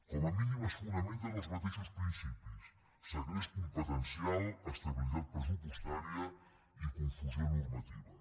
com a mínim es fonamenta en els mateixos principis segrest competencial estabilitat pressupostària i confusió normativa